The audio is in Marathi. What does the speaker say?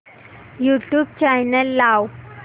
यूट्यूब चॅनल लाव